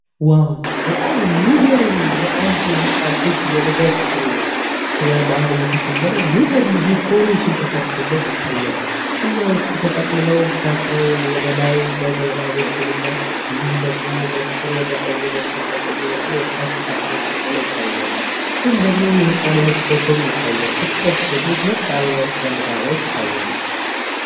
ዋው በጣም የሚገርም የአንድ ህፃን ልጅ የልደት ክብረ በዓል እየተከበረ የሚገርም ዲኮሬሽን ተሰርቶ ይታያል። ተጠቅልለው ወደ ላይ በላይ በኩል እና እንዲሁም ደግሞ በስር ወደ ቀኝ በኩል በቀኝ በኩል ይታያል። የህጻኑ ልጅ ፎቶ ይታያል። ይታያሉ